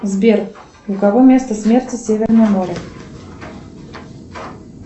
сбер у кого место смерти северное море